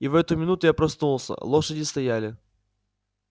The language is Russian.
и в эту минуту я проснулся лошади стояли